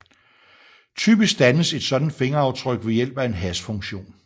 Typisk dannes et sådant fingeraftryk ved hjælp af en hashfunktion